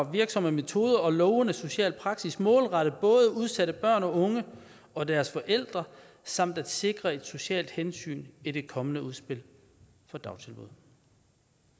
virksomme metoder og lovende social praksis målrettet både udsatte børn unge og deres forældre samt at sikre et socialt hensyn i det kommende udspil for dagtilbud